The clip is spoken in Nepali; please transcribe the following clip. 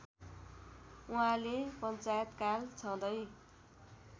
उहाँले पञ्चायतकाल छँदै